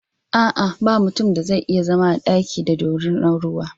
A'a, ba mutun da zai iya zama a daki da dorinar ruwa.